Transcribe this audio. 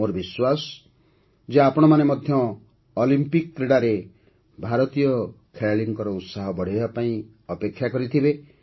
ମୋର ବିଶ୍ୱାସ ଯେ ଆପଣମାନେ ମଧ୍ୟ ଅଲିମ୍ପିକ୍ କ୍ରୀଡ଼ାରେ ଭାରତୀୟ ଖେଳାଳିଙ୍କ ଉତ୍ସାହ ବଢ଼ାଇବା ପାଇଁ ଅପେକ୍ଷା କରିଥିବେ